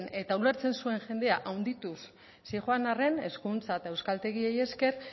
eta ulertzen zuen jendea handituz zioan arren hezkuntza eta euskaltegiei esker